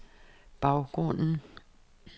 baggrunden